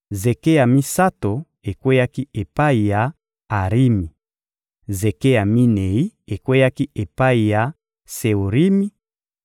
zeke ya misato ekweyaki epai ya Arimi; zeke ya minei ekweyaki epai ya Seorimi;